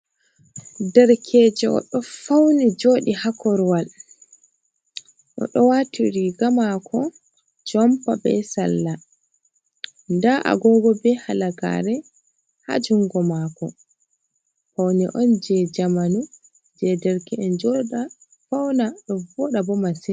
Derkejo oɗo fauni joɗi ha korwal. oɗo wati riga mako jompa be salla. nda agogo be halagare ha jungo mako. Paune on je jamanu je derke’en joɗa fauna ɗo voɗa bo masin.